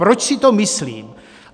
Proč si to myslím?